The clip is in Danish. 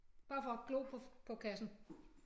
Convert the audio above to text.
Bare for at glo på på kassen